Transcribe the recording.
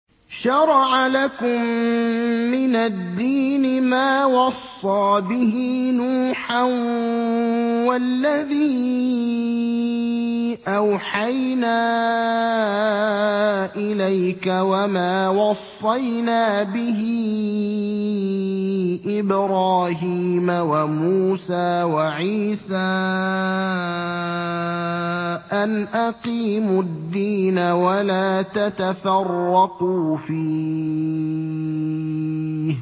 ۞ شَرَعَ لَكُم مِّنَ الدِّينِ مَا وَصَّىٰ بِهِ نُوحًا وَالَّذِي أَوْحَيْنَا إِلَيْكَ وَمَا وَصَّيْنَا بِهِ إِبْرَاهِيمَ وَمُوسَىٰ وَعِيسَىٰ ۖ أَنْ أَقِيمُوا الدِّينَ وَلَا تَتَفَرَّقُوا فِيهِ ۚ